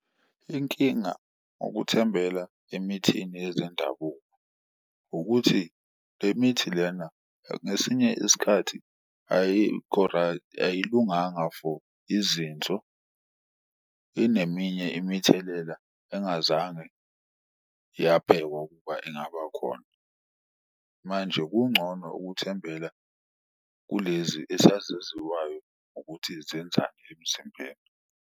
Inkinga ukuthembela emithini yezendabuko ukuthi le mithi lena ngesinye isikhathi ayilunganga for izinso, ineminye imithelela engazange yabhekwa ukuba ingaba khona. Manje kungcono ukuthembela kulezi esazaziwayo ukuthi zenzani emzimbeni.